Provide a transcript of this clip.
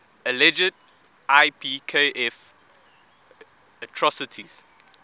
alleged ipkf atrocities